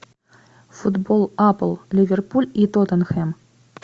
футбол апл ливерпуль и тоттенхэм